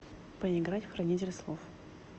поиграть в хранитель слов